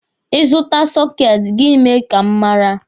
Ị zụta sọketi, gị mee ka m mara.